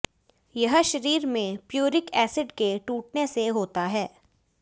यह शरीर में प्यूरिक एसिड के टूटने से होता है